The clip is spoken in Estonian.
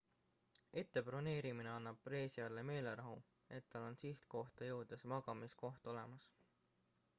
ette broneerimine annab reisijale meelerahu et tal on sihtkohta jõudes magamiskoht olemas